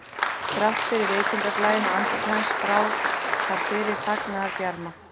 Þrátt fyrir veikindablæinn á andliti hans brá þar fyrir fagnaðarbjarma